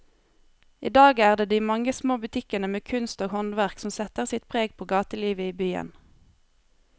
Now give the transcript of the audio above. I dag er det de mange små butikkene med kunst og håndverk som setter sitt preg på gatelivet i byen.